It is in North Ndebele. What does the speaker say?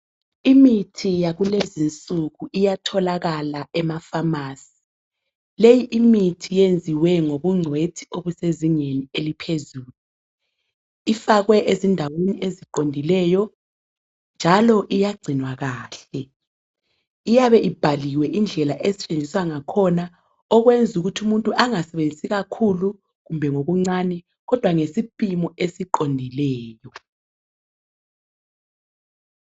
Imithi yakulezi insuku iyatholakala emafamasi leyi imithi iyenziwe ngobungcwethi obusezingeni eliphezulu. Ifakwe ezindaweni eziqondileyo njalo iyagcinwa kahle iyabe ibhaliwe indlela esetshenziswa ngakhona okwenza ukuthi umuntu angasebenzisi kakhulu kumbe ngokuncane kodwa ngesipimo esiqondileyo.